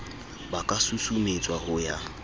ba ka susumetswa ho ya